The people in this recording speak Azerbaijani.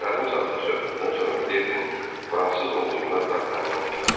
Yarım saatlıq söhbətdən sonra Miledinin fransız olduğuna Dartanyan inandı.